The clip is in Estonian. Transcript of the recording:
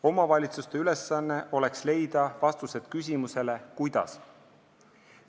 Omavalitsuste ülesanne oleks leida vastused küsimusele "Kuidas?".